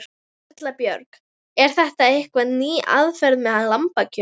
Erla Björg: Er þetta eitthvað ný aðferð með lambakjöt?